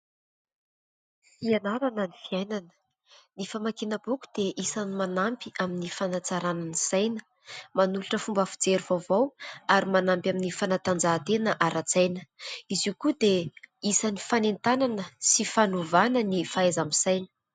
Fianarana ny fiainana. Ny famakiana boky dia isan'ny manampy amin'ny fanatsarana ny saina, manolotra fomba fijery vaovao ary manampy amin'ny fanatanjahantena ara-tsaina. Izy io koa dia isan'ny fanentanana sy fanovana ny fahaiza-misaina.